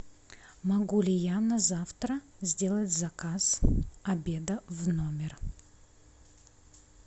могу ли я на завтра сделать заказ обеда в номер